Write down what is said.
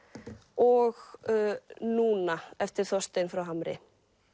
og núna eftir Þorstein frá Hamri